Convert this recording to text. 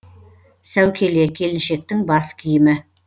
сәукеле келіншектің бас киімі